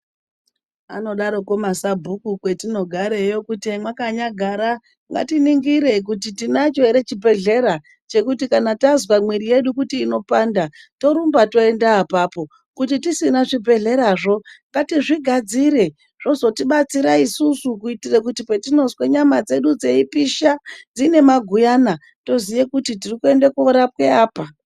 Anodarokwo masabhuku kwetinogareyo kuti hemwakanyagara ngatiningire kuti tinacho ere chibhehlera chekuti kana tazwa mwiri yedu kuti inopanda torumba toenda apapo. Kuti tisina zvibhehlerazvo ngatizvigadzire zvozotibatsira isusu kuitire kuti zvozotibatsira isusu kuitira kuti patinozwa nyama dzedu dzeipisha dzine maguyana toziya kuti tiri kuende korapwa apa.